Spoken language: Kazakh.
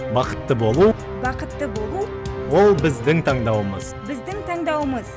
бақытты болу бақытты болу ол біздің таңдауымыз біздің таңдауымыз